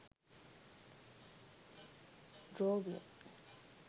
drawing